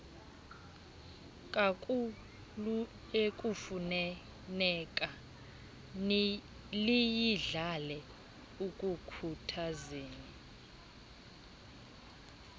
kakhuluekufuneka liyidlale ekukhuthazeni